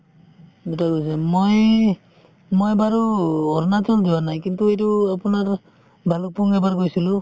দুটাই মই মই বাৰু অৰুণাচল যোৱা নাই কিন্তু এইটো আপোনাৰ ভালুকপুং এবাৰ গৈছিলো